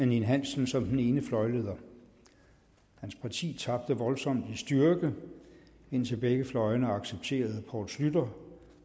ninn hansen som den ene fløjleder hans parti tabte voldsomt i styrke indtil begge fløjene accepterede poul schlüter